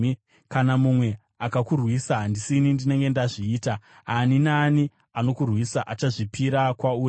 Kana mumwe akakurwisa, handisini ndinenge ndazviita; ani naani anokurwisa achazvipira kwauri.